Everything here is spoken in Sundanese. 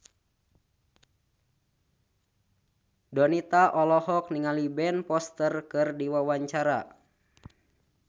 Donita olohok ningali Ben Foster keur diwawancara